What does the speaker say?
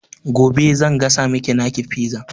Gobe zan gasa maki taki fizar